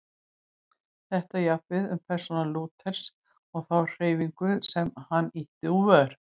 Þetta á jafnt við um persónu Lúthers og þá hreyfingu sem hann ýtti úr vör.